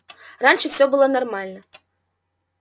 раньше всё было нормально